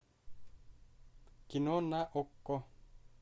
кино на окко